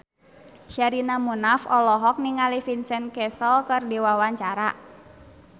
Sherina Munaf olohok ningali Vincent Cassel keur diwawancara